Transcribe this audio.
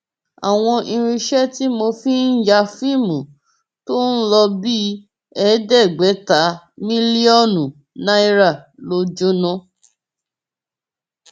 àwọn irinṣẹ tí mo fi ń ya fíìmù tó ń lò bíi ẹẹdẹgbẹta mílíọnù náírà ló jóná